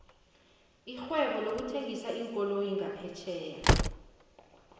irhwebo lokuthengisa iinkoloyi ngaphetjheya